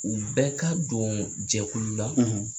U bɛ ka don jɛkulu la